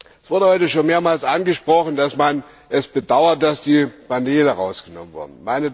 Es wurde heute schon mehrmals angesprochen, dass man es bedauert, dass die Panele herausgenommen wurden.